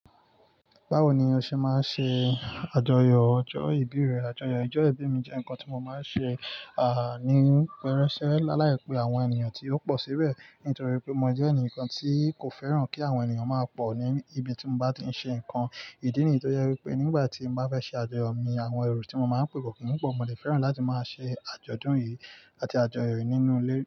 Báwo ni o ṣe máa ń ṣe àjọyọ̀ ọjọ́ ìbí rẹ? Àjọyọ̀ ọjọ́ ìbí mi jẹ́ ǹkan tí mo máa ń ṣe, àní, pẹrẹsẹ, lálàípe àwọn ènìyàn tí ó pọ̀ síbẹ̀. Nítorí pé mo jẹ́ ẹnìkan tí kò fẹ́ràn kí àwọn ènìyàn máa pọ̀ ní ibi tí mo bá ti ń ṣe ǹkan ìdí nìyí. Tọ́ jẹ wípé nígbà tí mo bá fẹ́ ṣe àjọyọ̀ mi, àwọn ẹro tí mo máa ń pè kò kin pọ̀. Mo dè fẹ́ràn láti máa ṣe àjọ̀dún yìí àti àjọyọ̀ yìí nínú ilé.